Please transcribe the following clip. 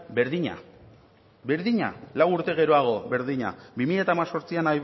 berdina berdina lau urte geroago berdina bi mila hemezortzian